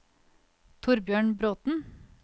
Thorbjørn Bråten